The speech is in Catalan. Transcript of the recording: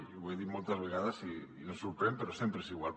i ho he dit moltes vegades i em sorprèn però sempre és igual